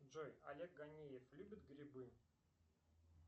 джой олег ганиев любит грибы